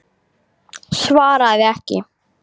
Svaraði ekki.